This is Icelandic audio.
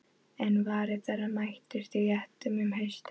En varir þeirra mættust í réttum um haustið.